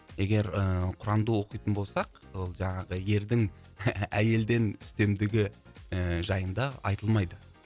егер ыыы құранды оқитын болсақ ол жаңағы ердің әйелден үстемдігі ііі жайында айтылмайды